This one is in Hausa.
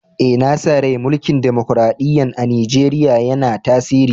Eh, na sa rai mulki'n dimokuradiyya'n a'Nijeriya yanna tasiri.